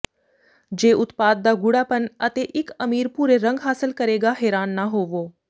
ਜੇ ਉਤਪਾਦ ਦਾ ਗੂਡ਼ਾਪਨ ਅਤੇ ਇੱਕ ਅਮੀਰ ਭੂਰੇ ਰੰਗ ਹਾਸਲ ਕਰੇਗਾ ਹੈਰਾਨ ਨਾ ਹੋਵੋ